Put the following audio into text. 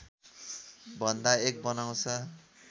भन्दा एक बनाउँछ